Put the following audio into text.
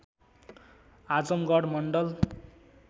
Azamgarh Mandal